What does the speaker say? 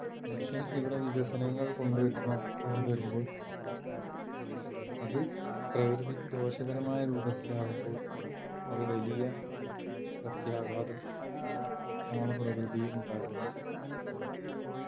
മനുഷ്യൻ ഇവിടെ വികസനങ്ങൾ കൊണ്ടുവരുന്നു കൊണ്ടുവരുമ്പോൾ അത് പ്രകൃതിക്ക് ദോഷകരമായ രൂപത്തിലാകുമ്പോൾ അത് വലിയ പ്രത്യാഘാതം ആണ് പ്രകൃതിയിൽ ഉണ്ടാക്കുന്നുണ്ട്